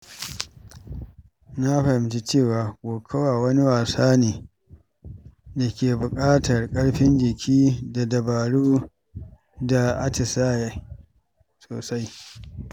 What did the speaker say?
Na fahimce cewa kokawa wani wasa ne da ke buƙatar ƙarfin jiki da dabaru da atisaye sosai.